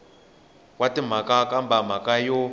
wa timhaka kambe mhaka yo